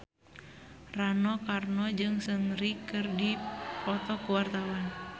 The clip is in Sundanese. Rano Karno jeung Seungri keur dipoto ku wartawan